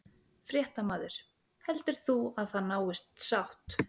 Fréttamaður: Heldur þú að það náist sátt?